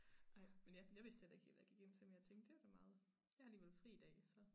Ej men ja jeg vidste heller ikke helt hvad jeg gik ind til men jeg tænkte det var da meget jeg har alligevel fri i dag så